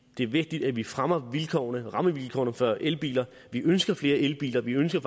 det er vigtigt at vi fremmer rammevilkårene for elbiler vi ønsker flere elbiler vi ønsker